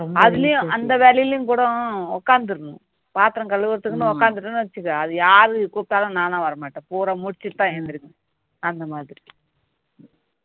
அதுலயும் அந்த வேலையிலயும் உட்கார்ந்திடனும் பாத்திரம் கழுவுறதுக்குன்னு உட்கார்ந்துட்டேனு வச்சிக்கோ அது யார் கூப்பிட்டாலும் நாலாம் வரமாட்டேன் குடை முடிச்சிட்டு தான் அழுந்திருப்பேன் அந்த மாதிரி